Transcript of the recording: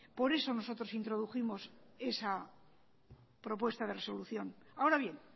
por eso nosotros introdujimos esa propuesta de resolución ahora bien